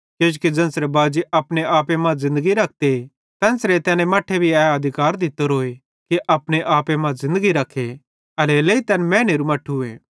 किजोकि ज़ेन्च़रे बाजी अपने आपे मां ज़िन्दगी रखते तेन्च़रे तैने मट्ठे भी ए अधिकार दित्तोरोए कि अपने आपे मां ज़िन्दगी रखे एल्हेरेलेइ तैन मैनेरू मट्ठूए